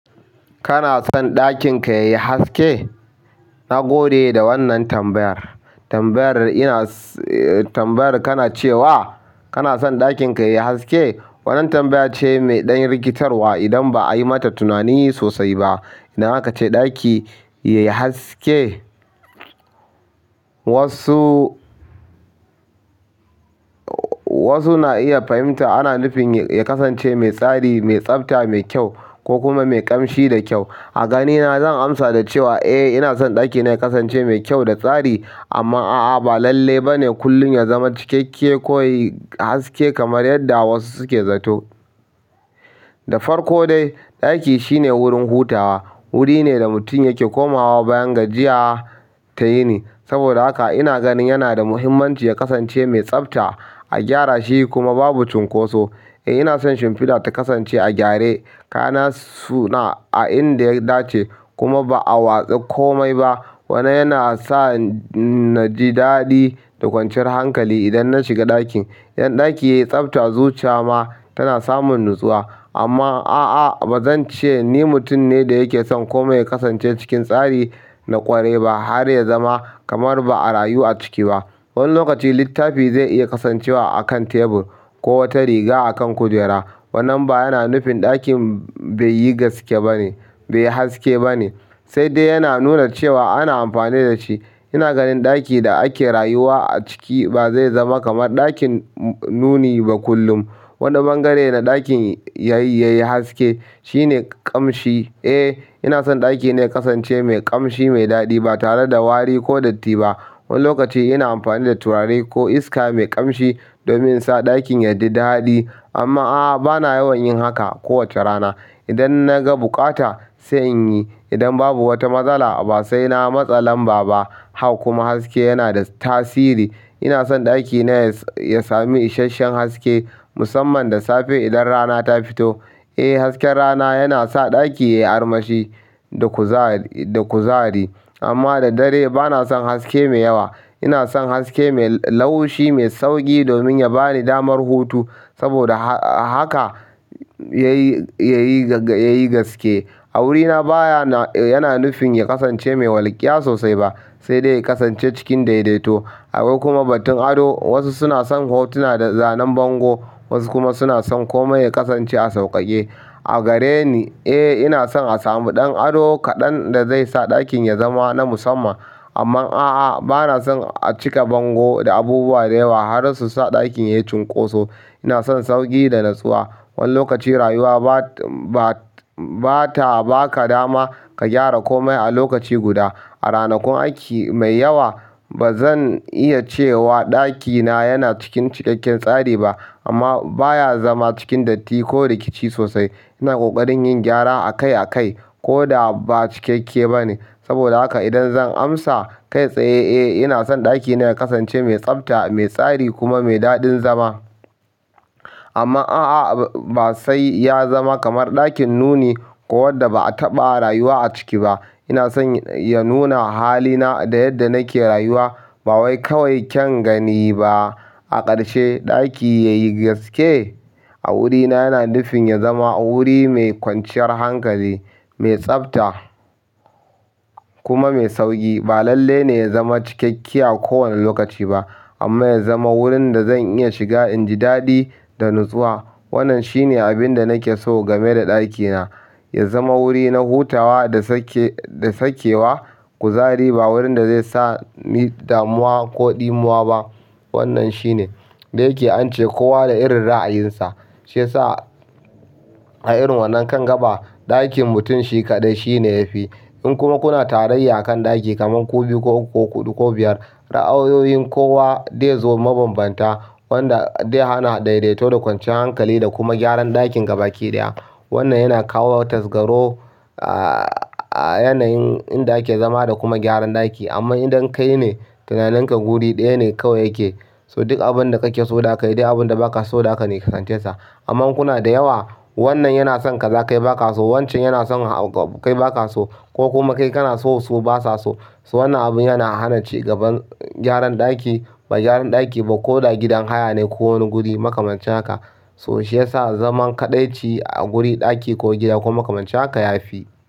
Kana son ɗakin ka yayi haske? Na gode da wannan tambayar. Tambayar ina-- tambayar kana cewa kana son ɗakin ka yayi haske, wannan tambaya ce mai ɗan rikitarwa idan ba a yi mata tunani sosai ba. Idan aka ce ɗaki yayi haske, wasu, wasu na iya fahimta ana nufin ya kasance mai tsari, mai tsabta, mai kyau ko kuma mai ƙamshi da kyau. A ganina, zan amsa da cewa eh, ina son ɗakina ya kasance mai kyau da tsari amma a'a ba lalle ba ne kullum ya zama cikakke ko yayi haske kamar yadda wasu suke zato. Da farko dai, ɗaki shine wurin hutawa, wuri ne da mutum yake komawa bayan gajiya ta yini. Saboda haka ina ganin yana da muhimmanci ya kasance mai tsabta, a gyara shi kuma babu cunkoso. Eh, ina son shimfiɗa ta kasance a gyare, kayana suna a inda ya dace kuma ba a watse komai ba. Wannan yana sa na ji daɗi da kwanciyar hankali idan na shiga ɗakin. Idan ɗaki yayi tsabta, zuciya ma tana samun natsuwa amma a'a ba zan ce ni mutum ne da yake son komai ya kasance cikin tsari na ƙwarai ba har ya zama kamar ba a rayu a ciki ba. Wani lokaci littafi zai iya kasancewa a kan tebur ko wata riga a kan kujera. Wannan ba yana nufin ɗakin bai yi gaske ba ne, bai yi haske ba ne, sai dai yana nuna cewa ana amfani da shi. Ina ganin ɗaki da ake rayuwa a ciki ba zai zama kamar ɗakin nuni ba kullum. Wani bangare na ɗakin yayi haske shine kamshi. Eh, ina son ɗakina ya kasance mai ƙamshi, mai daɗi ba tare da wari ko datti ba. Wani lokacin ina amfani da turare ko iska mai kamshi domin insa ɗaki yayi daɗi amma aa bana yawan yin haka kowace rana idan na ga bukata sai in yi. Idan babu wata matsala ba sai na matsa lam baba. Hak kuma haske yana da tasiri. Ina son ɗakina ya sami isasshen haske musamman da safe idan rana ta fito. Eh, hasken rana yana sa ɗaki ya yi armashi da kuzari, amma da dare ba na son haske mai yawa. Ina son haske mai laushi, mai sauƙi domin ya ba ni damar hutu saboda haka yayi, yayi gaske. A wurina baya, yana nufin ya kasance mai walƙiya sosai ba sai dai ya kasance cikin daidaito. Akwai kuma batun ado wasu suna son hotuna da zanen bango wasu kuma suna son komai ya kasance a sauƙaƙe a gare ni, eh ina son a samu ɗan ado kaɗan da zai sa ɗakin ya zama na musamman. Amma a'a, ba na son a cika bango da abubuwa da yawa har su sa ɗakin ya yi cunkoso. Ina son sauƙi da natsuwa. Wani lokacin rayuwa ba, ba ta ba ka dama ka gyara komai a lokaci guda. A ranakun aiki mai yawa bazan iya cewa ɗaki na yana ciki cikakken tsari ba amma bayan zama cikin datti ko rikici sosai ina ƙoƙarin yin gyara akai akai ko da ba cikakke ba ne. Saboda haka idan zan amsa kai tsaye, eh ina son ɗakina ya kasance mai tsafta, mai tsari kuma mai daɗin zama. Amma a'a, ba sai ya zama kamar ɗakin nuni ko wanda ba a taɓa rayuwa a ciki ba. Ina son ya nuna halina da yadda nake rayuwa ba wai kawai kyan gani ba. A ƙarshe, ɗaki yayi gaske? A wurina yana nufin ya zama wuri mai kwanciyar hankali, mai tsabta kuma mai sauƙi. Ba lalle ne ya zama cikakke a kowane lokaci ba amma ya zama wurin da zan iya shiga in ji daɗi da natsuwa. Wannan shine abin da nake so game da ɗakina. Ya zama wuri na hutawa da sake, da sakewa, kuzari ba wurin da zai sa ni damuwa ko ɗimuwa ba. Wannan shine da yake ance, "Kowa da irin ra'ayinsa." Shi yasa a irin wannan kan gaba, ɗakin mutum shi kaɗai shi ne yafi. In kuma kuna tarayya a kan ɗaki kaman ku biyu ko huɗu ko biyar, ra'ayoyin kowa zai zo mabambanta wanda zai ana daidaito da kwanciyar hankali da kuma gyaran ɗakin gaba ki ɗaya. Wannan yana kawo tasgaro a yanayin inda ake zama da kuma gyaran ɗaki. Amma idan kai ne tunaninka guri ɗaya ne kawai yake, so duk abun da kake so da kai ɗak abun da ba ka so da ka nisance sa. Amma in kuna da yawo, wannan yana son ka kaza kai ba ka so, wancan yana son kai ba ka so ko kuma kai kana so su basa so. So wannan abun yana hana cigaban gyaran ɗaki, ba gyaran ɗaki ba ko da gidan haya ne ko wani guri makamancin haka. To shi ya sa zaman kaɗaici a guri ɗaki ko gida ko makamanci haka ya fi.